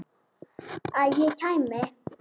Að ég kæmi?